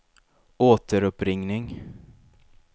återuppringning